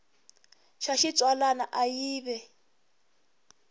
xa xitsalwana a yi ve